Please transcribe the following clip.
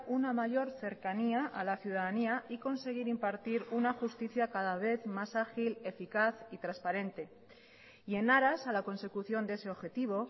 una mayor cercanía a la ciudadanía y conseguir impartir una justicia cada vez más ágil eficaz y transparente y en aras a la consecución de ese objetivo